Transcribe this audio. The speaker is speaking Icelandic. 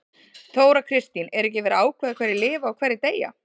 Þóra Kristín: Er ekki verið að ákveða hverjir lifa og hverjir deyja?